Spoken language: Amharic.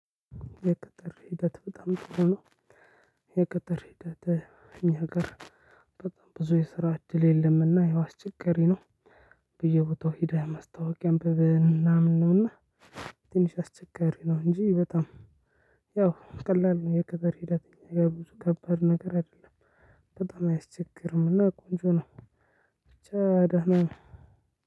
የቅጥር ሂደት በጣም ጥሩ ነው። የቅጥር ሂደት እኛ ሀገር በጣም ብዙ የስራ እድል የለምና ያው አስቸጋር ነው። በየ ቦታው ሄደህ ማስታወቂያ አንብብን ምናምን ነውና። ትንሽ አስቸጋሪ ነው እንጂ በጣም። ያው ቀላል ነው የክበር ሂደተኛ የብዙ ከባድ ነገር አይደለም። በጣም አያስቸግርም እና ቆንጆ ነው። ብቻ ደህና ነው።